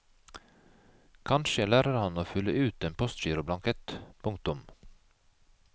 Kanskje lærer han å fylle ut en postgiroblankett. punktum